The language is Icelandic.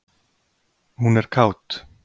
Hún er kát.